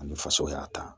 Ani faso y'a ta